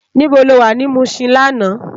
Nibó ló wá ni Mushin làná?